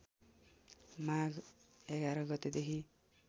माघ ११ गतेदेखि